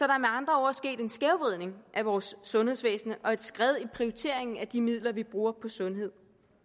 er med andre ord sket en skævvridning af vores sundhedsvæsen og et skred i prioriteringen af de midler vi bruger på sundhed